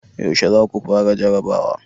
yaushe za ku fara jarrabawa?